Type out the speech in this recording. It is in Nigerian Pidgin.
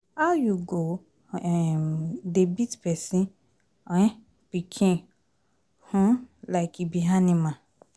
How you go um dey beat person um pikin um like e be animal?